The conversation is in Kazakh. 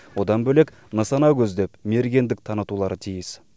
одан бөлек нысана көздеп мергендік танытулары тиіс